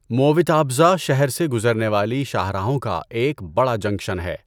مووٹاپزھا شہر سے گزرنے والی شاہراہوں کا ایک بڑا جنکشن ہے۔